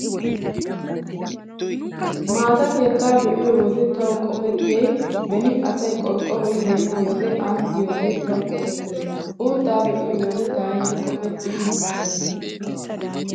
Maata keettaa be'iyo wode tawu qopettiyay beni asay qorqqoroy yeenna wode aani diyoogee tawu qopettees. Uuttaa be'iyo wode taayyo qopettiyay muchchuwaa.